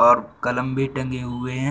और कलम भी टंगे हुए हैं।